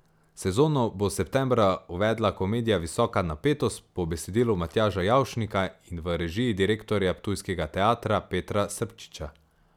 Sezono bo septembra uvedla komedija Visoka napetost po besedilu Matjaža Javšnika in v režiji direktorja ptujskega teatra Petra Srpčiča.